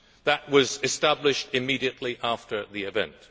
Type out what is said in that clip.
That was established immediately after the event.